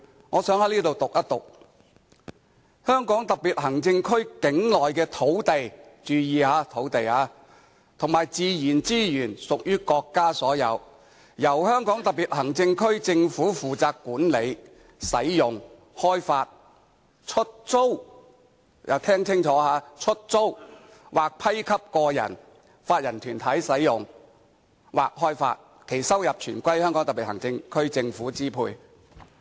我想在此讀出第七條："香港特別行政區境內的土地"——注意，是土地——"和自然資源屬於國家所有，由香港特別行政區政府負責管理、使用、開發、出租"——聽清楚——"出租或批給個人、法人或團體使用或開發，其收入全歸香港特別行政區政府支配。